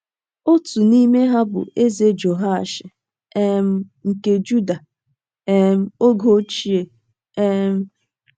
Otu n’ime ha bụ Eze Jehoashi um nke Juda um oge ochie um.